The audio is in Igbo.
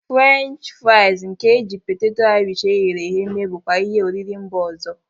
French friaz nke e ji poteto Irish eghere eghe eme bụkwa ihe oriri mba ọzọ.